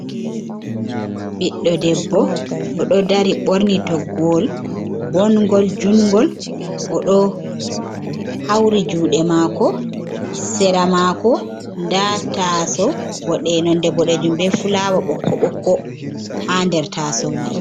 Ɓiɗɗo debbo oɗo dari borni toggowol ɓongol jungol odo hauri juɗe mako sera mako da ta'aso ɓo ɗe nonɗe boɗejum be fulawa bokko bokko ha nder taso mai.